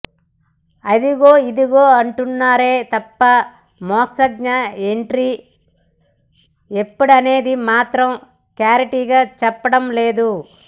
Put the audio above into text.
అదిగో ఇదిగో అంటున్నారే తప్ప మోక్షజ్ఞ ఎంట్రీ ఎప్పుడనేది మాత్రం క్లారిటీ గా చెప్పడం లేదు